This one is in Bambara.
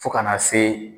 Fo kana se